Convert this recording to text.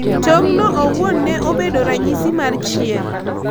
Tong' no owuon ne obedo ranyisi mar Chier.